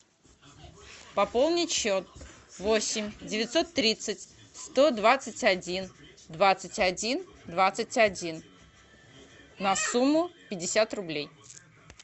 пополнить счет восемь девятьсот тридцать сто двадцать один двадцать один двадцать один на сумму пятьдесят рублей